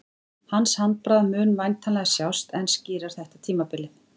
Hans handbragð mun væntanlega sjást enn skýrar þetta tímabilið.